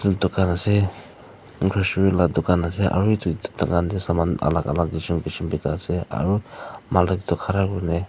Tugan ase la tugan ase aro etu tugan tey saman alak alak kesem kesem bekai ase aro malik tu khara kurena--